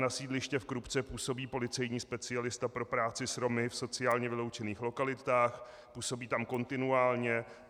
Na sídlišti v Krupce působí policejní specialista pro práci s Romy v sociálně vyloučených lokalitách, působí tam kontinuálně.